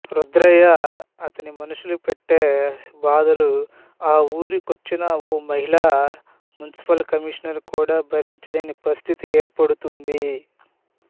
రుద్రయ్య అతని మనుషులు పెట్టే బాధలు ఆ వూరికొచ్చిన ఓ మహిళా మునిసిపల్ కమీషనర్ కూడా భరించలేని పరిస్థితి ఏర్పడుతుంది